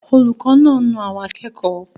Olùkọ́ náà na àwọn akẹ́kọ̀ọ́?